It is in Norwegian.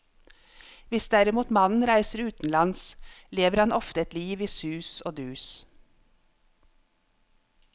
Hvis derimot mannen reiser utenlands, lever han ofte et liv i sus og dus.